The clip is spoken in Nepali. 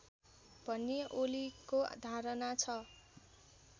भन्ने ओलीको धारणा छ